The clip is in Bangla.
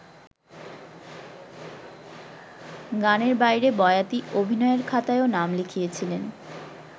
গানের বাইরে বয়াতি অভিনয়ের খাতায়ও নাম লিখিয়েছিলেন।